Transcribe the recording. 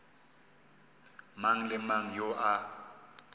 mang le mang yo a